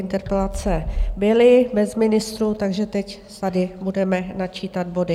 Interpelace byly bez ministrů, takže teď tady budeme načítat body.